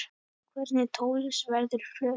Hvernig tónlist verður flutt?